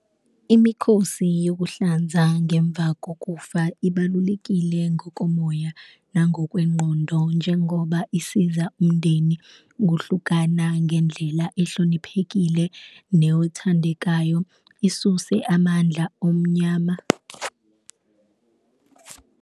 Imikhosi yokuhlanza ngemva kokufa ibalulekile ngokomoya nangokwengqondo, njengoba isiza umndeni ukuhlukana ngendlela ehloniphekile newothandekayo, isuse amandla omnyama.